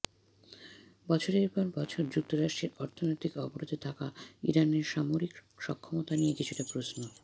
বছরের পর বছর যুক্তরাষ্ট্রের অর্থনৈতিক অবরোধে থাকা ইরানের সামরিক সক্ষমতা নিয়ে কিছুটা প্রশ্ন